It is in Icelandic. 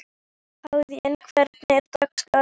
Héðinn, hvernig er dagskráin?